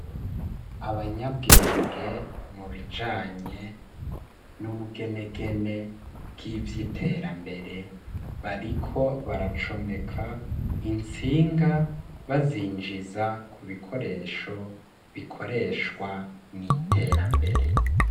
abanyabwenge mu bijanye n'ubugenegene bwivyi iterambere bariko baracomeka itsinga bazinjiza ku bikoresho bikoreshwa n'iterambere